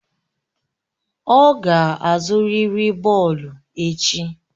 Ọ ga-azụrịrị bọọlụ echi!